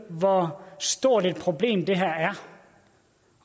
hvor stort et problem det her er